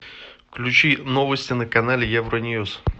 включи новости на канале евроньюс